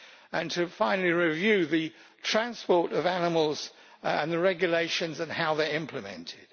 and finally, to review the transport of animals and the regulations and how they are implemented.